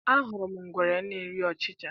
Ahụrụ m ngwere na-eri ọchịcha